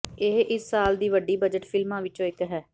ਇਹ ਇਸ ਸਾਲ ਦੀ ਵੱਡੀ ਬਜਟ ਫਿਲਮਾਂ ਵਿੱਚੋਂ ਇੱਕ ਹੈ